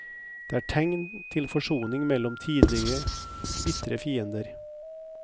Det er tegn til forsoning mellom tidligere bitre fiender.